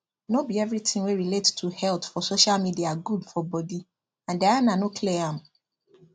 no be everything wey relate to health for social media good for body and diana no clear am